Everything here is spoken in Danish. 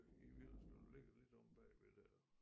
I Villerslev der ligger lidt omme bagved der